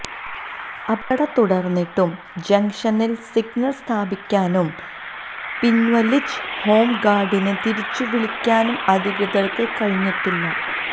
അപകടം തുടര്ന്നിട്ടും ജംഗ്ഷനില് സിഗ്നല് സ്ഥാപിക്കാനും പിന്വലിച്ച ഹോം ഗാര്ഡിനെ തിരിച്ചുവിളിക്കാനും അധികൃതര്ക്ക് കഴിഞ്ഞിട്ടില്ല